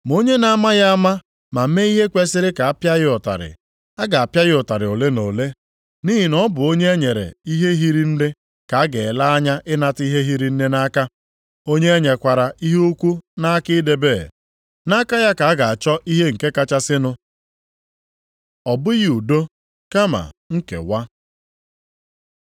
Ma onye na-amaghị ama ma mee ihe kwesiri ka a pịa ya ụtarị, a ga-apịa ya ụtarị ole na ole. Nʼihi na ọ bụ onye e nyere ihe hiri nne ka a ga-ele anya ịnata ihe hiri nne nʼaka. Onye e nyekwara ihe ukwu nʼaka idebe, nʼaka ya ka a ga-achọ ihe nke kachasịnụ. Ọ bụghị udo kama nkewa